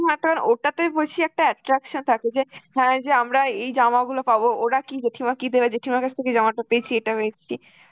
হয় তার ওটাতেই বেশি একটা attraction থাকতো যে হ্যাঁ এইযে আমরা এই জামাগুলো পাব, ওরা কি~ জেঠিমা কি দেবে, জেঠিমার কাছ থেকে এই জামাটা পেয়েছি এটা আমি